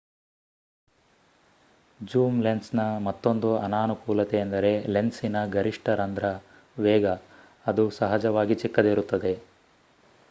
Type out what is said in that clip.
zoom lens ನ ಮತ್ತೊಂದು ಅನಾನುಕೂಲತೆ ಎಂದರೆ ಲೆನ್ಸಿನ ಗರಿಷ್ಟ ರಂದ್ರ ವೇಗ ಅದು ಸಹಜವಾಗಿ ಚಿಕ್ಕದಿರುತ್ತದೆ